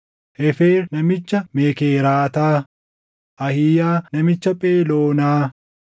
Heefer namicha Mekeeraataa, Ahiiyaa namicha Pheloonaa,